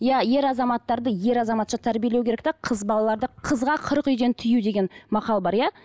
иә ер азаматтарды ер азаматша тәрбиелеу керек те қыз балаларды қызға қырық үйден тыю деген мақал бар иә